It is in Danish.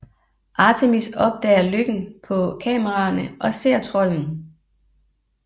Artemis opdager løkken på kameraerne og ser trolden